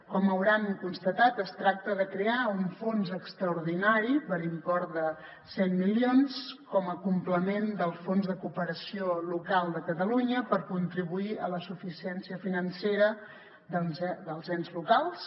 com deuen haver constatat es tracta de crear un fons extraordinari per import de cent milions com a complement del fons de cooperació local de catalunya per contribuir a la suficiència financera dels ens locals